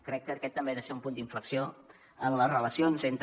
crec que aquest també ha de ser un punt d’inflexió en les relacions entre